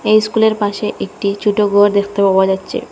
এই স্কুলের পাশে একটি ছুটো গর দেখতে পাওয়া যাচ্চে।